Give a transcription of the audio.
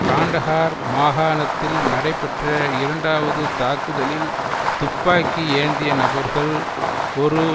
காண்டஹார் மாகாணத்தில் நடைபெற்ற இரண்டாவது தாக்குதலில் துப்பாக்கி ஏந்திய நபர்கள் ஒரு